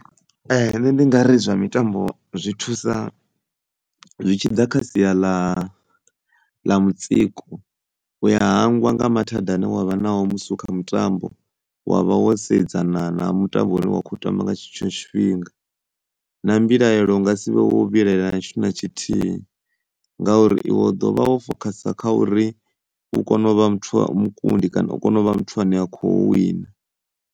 Nṋe ndi ngari zwa mitambo zwi thusa zwi tshi ḓa kha sia ḽa ḽa mutsiko u ya hangwa nga mathada ane wa vha nao musi u kha mutambo wa vha wo sedzana na mutambo une wa khou tamba nga tshetsho tshifhinga na mbilaelo u nga sivhe wo vhilaela na tshithu na tshithihi, ngauri iwe u ḓovha wo fokhasa kha uri u kone u vha muthu wa, mukundi kana u kone u vha muthu ane kho wina.